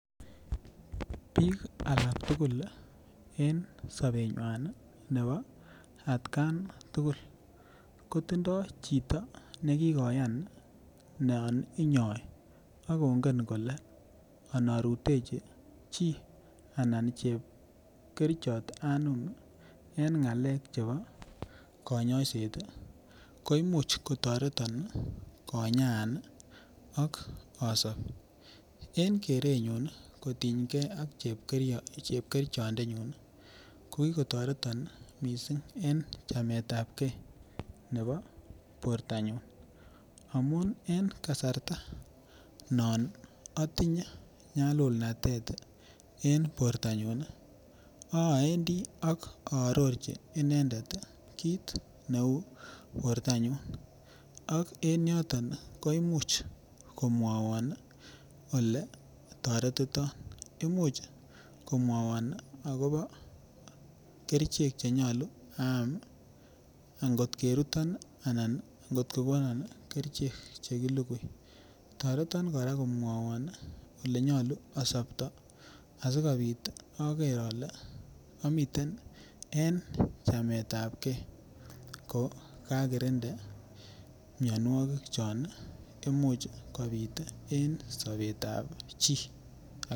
Bik akak tugul en sobenywa nebo atkan tugul kotindoi chito ne inyoi ak kongen kole anarutechi chi anan chepkerichot anum en ngalek Che chebo koimuch kotoreton konyaan ak asob en kerenyun kosubge ak chepkirichondenyun ko ki kotoreton mising en chamet ab ge nebo bortanyun amun en kasarta non atinye nyalululnatet en bortanyun awendi ak aarorchi inendet kit neu bortanyun ak en yoton koimuch kotoretiton ko mwawon agobo kerichek Che nyolu aam angot keruton anan kot ko konon kerichek Che ki lugui toreton kora komwawon Ole nyolu asopto asikobit ager ale amite n en chameetapgei ko kakirinda mianwogik Che Imuch kobit en sobetab chito